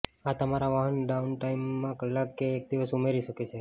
આ તમારા વાહનના ડાઉન ટાઇમમાં કલાક કે એક દિવસ ઉમેરી શકે છે